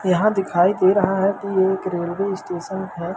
यहां दिखाई दे रहा है कि ये एक रेलवे स्टेशन है।